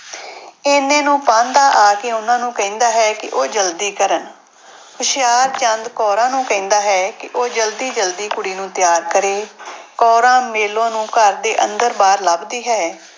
ਇੰਨੇ ਨੂੰ ਪਾਂਧਾ ਆ ਕੇ ਉਹਨਾਂ ਨੂੂੰ ਕਹਿੰਦਾ ਹੈ ਕਿ ਉਹ ਜ਼ਲਦੀ ਕਰਨ ਹੁਸ਼ਿਆਰਚੰਦ ਕੌਰਾਂ ਨੂੰ ਕਹਿੰਦਾ ਹੈ ਕਿ ਉਹ ਜ਼ਲਦੀ ਜ਼ਲਦੀ ਕੁੜੀ ਨੂੰ ਤਿਆਰ ਕਰੇ ਕੌਰਾਂ ਮੇਲੋ ਨੂੰ ਘਰ ਦੇ ਅੰਦਰ ਬਾਹਰ ਲੱਭਦੀ ਹੈ।